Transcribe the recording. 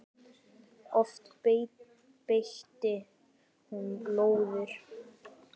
Oft beitti hún lóðir.